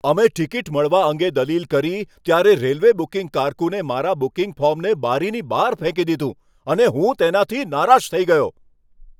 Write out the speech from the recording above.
અમે ટિકિટ મળવા અંગે દલીલ કરી ત્યારે રેલવે બુકિંગ કારકુને મારા બુકિંગ ફોર્મને બારીની બહાર ફેંકી દીધું અને હું તેનાથી નારાજ થઈ ગયો.